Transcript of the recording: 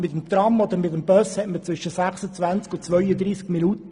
Mit dem Tram oder dem Bus dauert es zwischen 26 und 32 Minuten.